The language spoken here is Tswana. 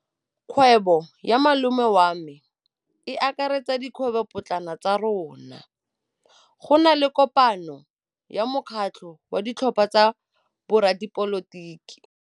Kgwêbô ya malome wa me e akaretsa dikgwêbôpotlana tsa rona. Go na le kopanô ya mokgatlhô wa ditlhopha tsa boradipolotiki.